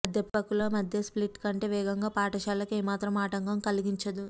అధ్యాపకుల మధ్య స్ప్లిట్ కంటే వేగంగా పాఠశాలకు ఏమాత్రం ఆటంకం కలిగించదు